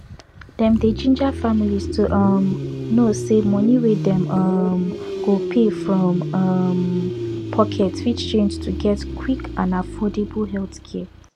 dem dey ginger families to um know say money wey dem um go pay from um pocket fit change to get quick and affordable healthcare